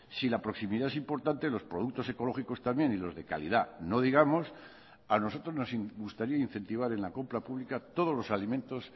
si la proximidad es importante los productos ecológicos también y los de calidad no digamos a nosotros nos gustaría incentivar en la compra pública todos los alimentos